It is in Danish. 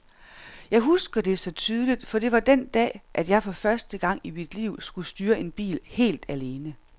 Jeg husker det så tydeligt, for det var den dag, at jeg for første gang i mit liv skulle styre en bil helt alene.